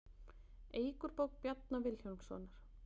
Eik úr bók Bjarna Vilhjálmssonar